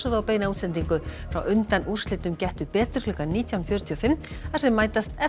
á beina útsendingu frá undanúrslitum Gettu betur klukkan nítján fjörutíu og fimm þar sem mætast